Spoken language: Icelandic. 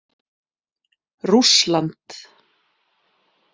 Rússland